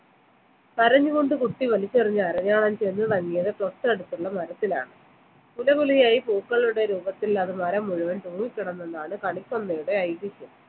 കരഞ്ഞുകൊണ്ട് കുട്ടി വലിച്ചെറിഞ്ഞ അരഞ്ഞാണം ചെന്ന് തങ്ങിയത് തൊട്ടടുത്തുള്ള മരത്തിലാണ് കുല കുലയായി പൂക്കളുടെ രൂപത്തിൽ അത് മരം മുഴുവൻ തൂങ്ങിക്കിടന്നു എന്നതാണ് കണിക്കൊന്നയുടെ ഐതിഹ്യം